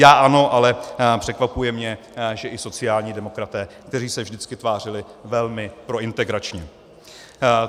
Já ano, ale překvapuje mne, že i sociální demokraté, kteří se vždycky tvářili velmi prointegračně.